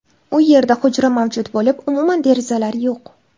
U yerda hujra mavjud bo‘lib, umuman derazalar yo‘q.